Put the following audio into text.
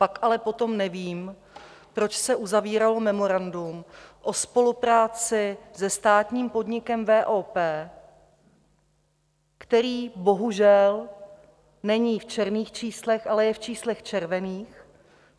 Pak ale potom nevím, proč se uzavíralo memorandum o spolupráci se státním podnikem VOP, který bohužel není v černých číslech, ale je v číslech červených.